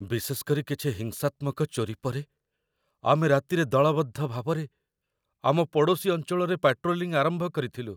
ବିଶେଷ କରି କିଛି ହିଂସାତ୍ମକ ଚୋରି ପରେ, ଆମେ ରାତିରେ ଦଳବଦ୍ଧ ଭାବରେ ଆମ ପଡ଼ୋଶୀ ଅଞ୍ଚଳରେ ପାଟ୍ରୋଲିଂ ଆରମ୍ଭ କରିଥିଲୁ।